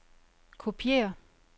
kopiér